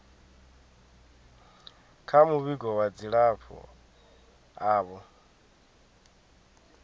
kha muvhigo wa dzilafho avho